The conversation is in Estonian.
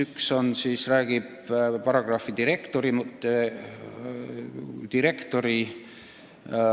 Üks räägib paragrahvi "Direktor" muutmisest.